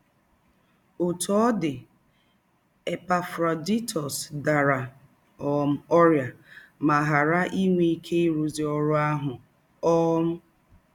Òtú ọ̀ dì, Epafrodaịtọs dàrá um órị́à mà ghàrá ìnwé íké ìrụ́zù órú àhù. um